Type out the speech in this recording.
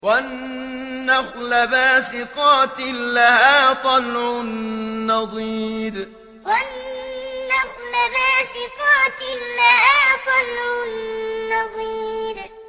وَالنَّخْلَ بَاسِقَاتٍ لَّهَا طَلْعٌ نَّضِيدٌ وَالنَّخْلَ بَاسِقَاتٍ لَّهَا طَلْعٌ نَّضِيدٌ